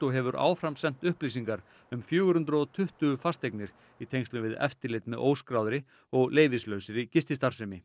og hefur áframsent upplýsingar um fjögur hundruð og tuttugu fasteignir í tengslum við eftirlit með óskráðri og leyfislausri gististarfsemi